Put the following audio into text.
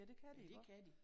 Ja det kan de iggå?